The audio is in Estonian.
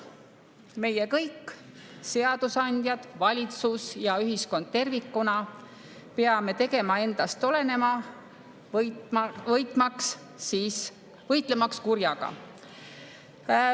Meie kõik – seadusandjad, valitsus ja ühiskond tervikuna – peame tegema endast oleneva, võitlemaks kurjaga.